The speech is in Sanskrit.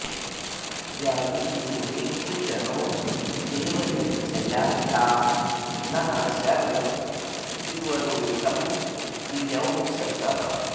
यावीजिरे वृषणो देवयज्यया ता नः शर्म त्रिवरूथं वि यंसतः